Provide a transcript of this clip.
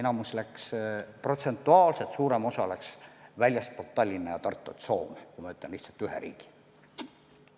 Enamus, protsentuaalselt suurem osa läks ära väljastpoolt Tallinna ja Tartut Soome, kui ma nimetan lihtsalt ühe riigi.